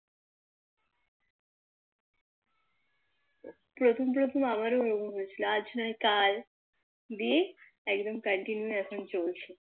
প্রথম প্রথম আমারো ওরকম হয়েছিল আজ নয় কাল দিয়ে একদম Continue এখন চলছে